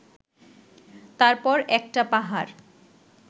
তারপর একটা পাহাড়